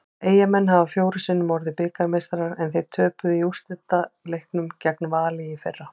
Eyjamenn hafa fjórum sinnum orðið bikarmeistarar en þeir töpuðu í úrslitaleiknum gegn Val í fyrra.